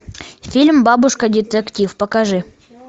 фильм бабушка детектив покажи